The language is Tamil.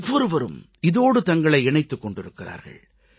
ஒவ்வொருவரும் இதோடு தங்களை இணைத்துக் கொண்டிருக்கிறார்கள்